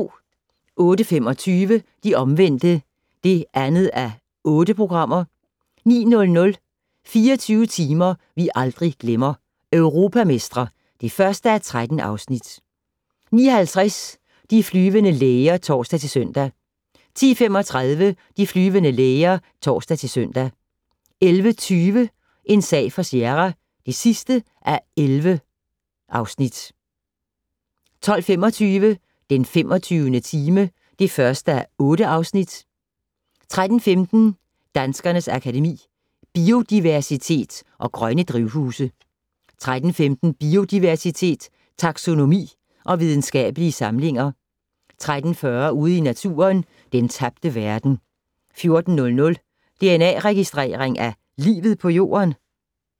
08:25: De Omvendte (2:8) 09:00: 24 timer vi aldrig glemmer - Europamestre (1:13) 09:50: De flyvende læger (tor-søn) 10:35: De flyvende læger (tor-søn) 11:20: En sag for Sierra (11:11) 12:25: Den 25. time (1:8) 13:15: Danskernes Akademi: Biodiversitet & Grønne drivhuse 13:15: Biodiversitet, taxonomi og videnskabelige samlinger 13:40: Ude i Naturen - Den tabte verden 14:00: Dna-registrering af livet på Jorden?